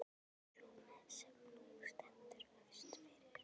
Sú sem nú stendur hófst fyrir